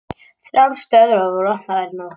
Þrjár stöðvar voru opnaðar í nótt